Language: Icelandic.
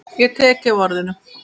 Ég tek þig á orðinu!